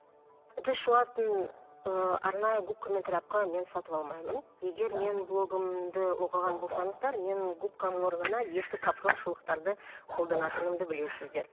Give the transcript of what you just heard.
ыдыс жуатын ыыы арнайы губка мен тряпка мен сатып алмаймын егер менің блогымды оқыған болсаңыздар мен губканың орнына ескі капрон шұлықтарды қолданатынымды білесіздер